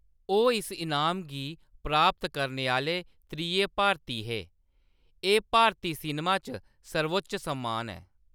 ओह्‌‌ इस इनाम गी प्राप्त करने आह्‌‌‌ले त्रिये भारती हे, एह्‌‌ भारती सिनेमा च सर्वोच्च सम्मान ऐ।